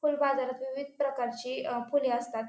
फूल बाजारात विविध प्रकारची अ फुले असतात.